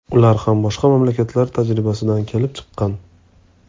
Ular ham boshqa mamlakatlar tajribasidan kelib chiqqan.